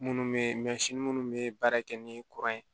Minnu bɛ minnu bɛ baara kɛ ni kuran ye